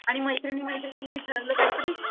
आणि मैत्रिणी मैत्रिणी नि ठरवलं काय तरी,